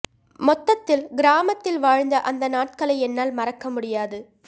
மொத்தத்தில் கிராமத்தில் வாழ்ந்த அந்த நாட்களை என்னால் மறக்க முடியாது